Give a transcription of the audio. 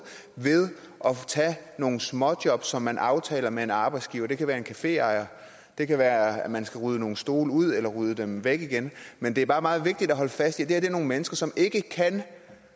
ved at tage nogle småjob som man aftaler med en arbejdsgiver det kan være en caféejer det kan være man skal rydde nogle stole ud eller rydde dem væk igen men det er bare meget vigtigt at holde fast i det er nogle mennesker som ikke kan